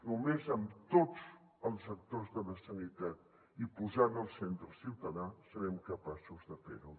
només amb tots els actors de la sanitat i posant al centre el ciutadà serem capaços de fer ho